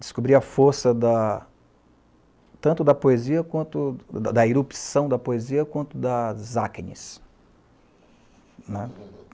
Descobri a força da tanto da poesia, quanto da da erupção da poesia, quanto das acnes, né.